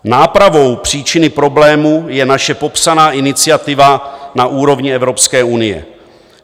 Nápravou příčiny problémů je naše popsaná iniciativa na úrovni Evropské unie.